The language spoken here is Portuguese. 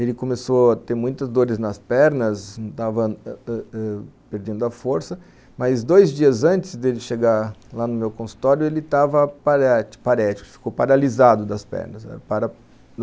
Ele começou a ter muitas dores nas pernas, estava perdendo a força, mas dois dias antes de ele chegar lá no meu consultório, ele estava parético, ficou paralisado das pernas